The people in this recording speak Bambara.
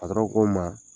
ko n ma